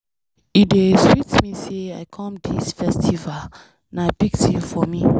E dey sweet me say I come dis festival. Na big thing for me.